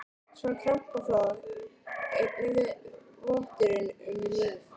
Smá krampaflog eini votturinn um líf.